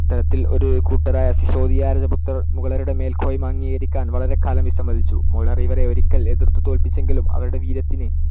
ഇത്തരത്തിൽ ഒരു കൂട്ടരായ സിസോദിയ രജപുത്രർ മുഗളരുടെ മേൽക്കോയ്മ അംഗീകരിക്കാൻ വളരെക്കാലം വിസമ്മതിച്ചു. മുഗളർ ഇവരെ ഒരിക്കൽ എതിർത്തു തോല്പ്പിച്ചെങ്കിലും അവരുടെ വീര്യത്തിന്‌